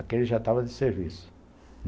Aqui ele já estava de serviço.